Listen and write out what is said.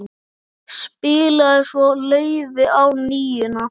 Spilaði svo laufi á NÍUNA.